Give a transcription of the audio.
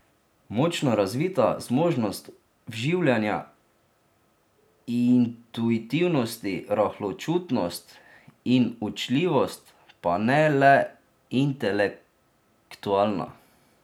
Močno razvita zmožnost vživljanja, intuitivnost, rahločutnost in učljivost, pa ne le intelektualna.